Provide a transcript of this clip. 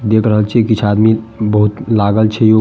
देख रहल छीये कीछ आदमी बहुत लागल छै उ --